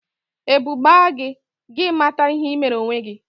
Ebu gbaa gị, gị mata ihe ị mere onwe gị